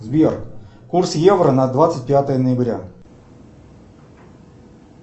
сбер курс евро на двадцать пятое ноября